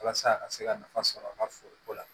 Walasa a ka se ka nafa sɔrɔ a ka foroko la